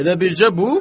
Elə bircə bu?